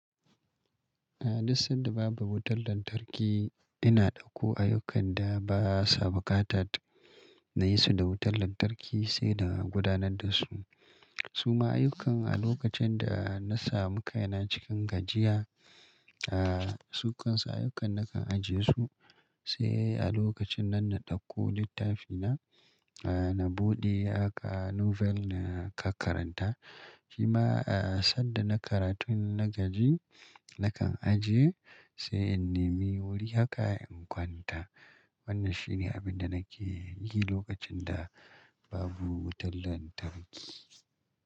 A duk sanda babu wutar lantarki, ina ɗauko ayyukan da ba sa buƙatar na yi su da wutar lantarki, sai na gudanar da su. Su ma ayyukan a lokacin da na samu kaina cikin gajiya,, su kan su ayyukan nakan ajiye su, sai a lokacin nan na ɗauko littafina, na buɗe haka novel na ka karanta. Shima, sanda na karatun na gaji, nakan ajiye, sai in nime wuri haka in kwanta. Wannan shi ne abin da nake yi lokacin da babu wutar lantarki.